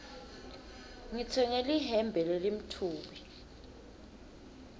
ngitsenge lihembe lelimtfubi